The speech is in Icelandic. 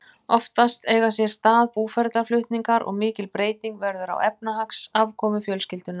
Oftast eiga sér stað búferlaflutningar og mikil breyting verður á efnahagsafkomu fjölskyldunnar.